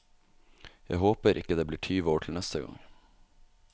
Jeg håper ikke det blir tyve år til neste gang.